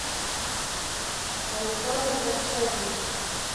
александр корчагин